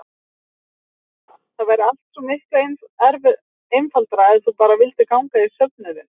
SÓLA: Það væri allt svo miklu einfaldara ef þú bara vildir ganga í söfnuðinn.